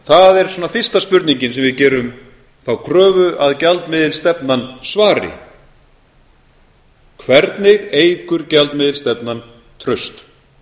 það er svona fyrsta spurningin sem við gerum þá kröfu að gjaldmiðilsstefnan svari hvernig eykur gjaldmiðilsstefnan traust